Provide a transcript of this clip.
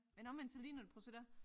Men omvendt så ligner det prøv at se der